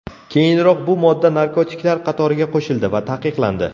Keyinroq bu modda narkotiklar qatoriga qo‘shildi va taqiqlandi.